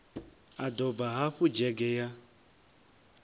a doba hafu dzhege ya